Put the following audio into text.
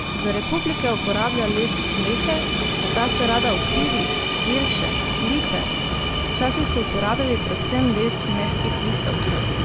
Za replike uporablja les smreke, a ta se rada ukrivi, jelše, lipe: "Včasih so uporabljali predvsem les mehkih listavcev.